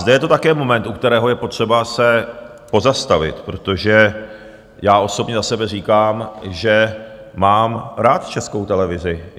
Zde je to také moment, u kterého je potřeba se pozastavit, protože já osobně za sebe říkám, že mám rád Českou televizi.